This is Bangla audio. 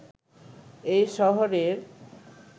এই শহরের